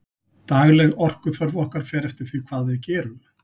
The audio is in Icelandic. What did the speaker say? dagleg orkuþörf okkar fer eftir því hvað við gerum